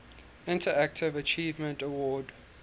interactive achievement award